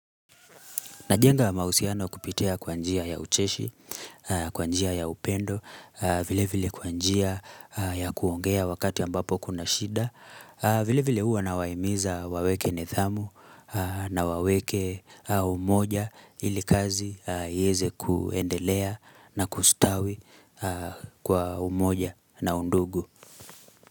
Najenga mahusiano kupitia kwa njia ya ucheshi, kwanjia ya upendo, vile vile kwanjia ya kuongea wakati ambapo kuna shida vile vile huwa nawaimiza waweke nidhamu na waweke umoja ilikazi iweze kuendelea na kustawi kwa umoja na undugu.